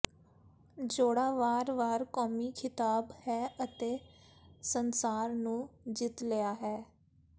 ਜੋੜਾ ਵਾਰ ਵਾਰ ਕੌਮੀ ਖਿਤਾਬ ਹੈ ਅਤੇ ਸੰਸਾਰ ਨੂੰ ਜਿੱਤ ਲਿਆ ਹੈ